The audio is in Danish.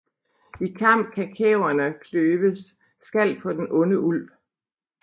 I Kamp han Kæverne kløve skal på den onde Ulv